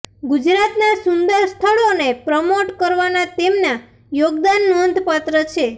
ગુજરાતના સુંદર સ્થળોને પ્રમોટ કરવાના તેમના યોગદાન નોંધપાત્ર છે